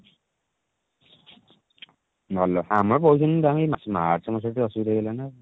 ଭଲ ଆମର କହୁଛନ୍ତି ତମର ଏଇ march ମାସ ରେ ଟିକେ ଅସୁବିଧା ହେଇଗଲା ନା।